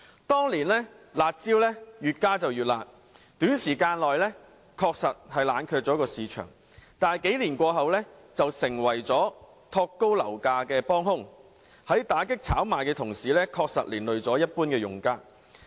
當年"辣招"越加越辣，短時間內冷卻樓市，但幾年過後，卻成為推高樓價的幫兇，在打擊炒賣的同時，確實連累了一般用家。